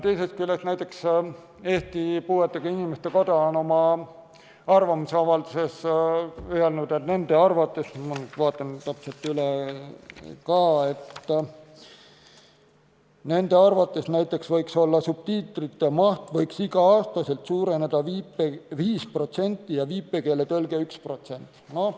Teisest küljest, näiteks Eesti Puuetega Inimeste Koda on oma arvamusavalduses öelnud, et nende arvates – ma vaatan täpselt üle – võiks subtiitrite maht iga aasta suureneda 5% ja viipekeeletõlge 1%.